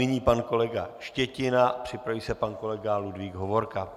Nyní pan kolega Štětina, připraví se pan kolega Ludvík Hovorka.